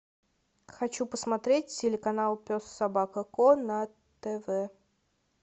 хочу посмотреть телеканал пес собака ко на тв